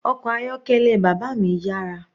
Ọkọ̀ ayọ́kẹ́lẹ́ bàbá mi yára.